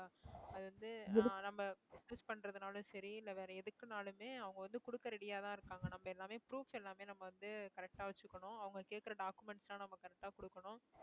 அது வந்து ஆஹ் நம்ம business பண்றதுனாலும் சரி இல்லை வேற எதுக்குனாலுமே அவங்க வந்து குடுக்க ready யாதான் இருக்காங்க நம்ம எல்லாமே proofs எல்லாமே நம்ம வந்து correct ஆ வச்சுக்கணும் அவங்க கேட்கிற documents எல்லாம் நம்ம correct ஆ கொடுக்கணும்